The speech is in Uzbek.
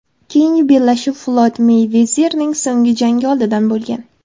Keyingi bellashuvi Floyd Meyvezerning so‘nggi jangi oldidan bo‘lgan.